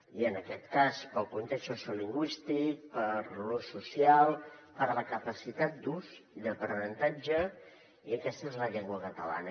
i en aquest cas pel context sociolingüístic per l’ús social per la capacitat d’ús i d’aprenentatge aquesta és la llengua catalana